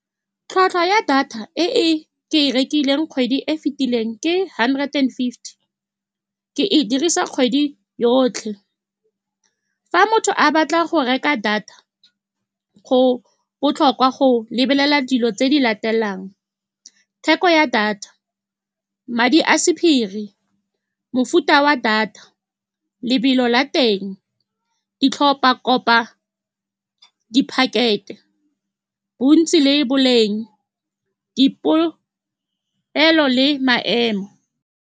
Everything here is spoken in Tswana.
Tlhwatlhwa ya data e e ke e rekileng kgwedi e e fitileng ke hundred and fifty, ke e dirisa kgwedi yotlhe. Fa motho a batla go reka data, go botlhokwa go lebelela dilo tse di latelang, theko ya data, madi a sephiri, mofuta wa data, lobelo la teng, di tlhopa, kopa di-packet-e, bontsi le boleng, dipolelo le maemo.